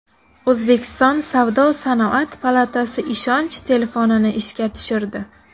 O‘zbekiston savdo-sanoat palatasi ishonch telefonini ishga tushirdi.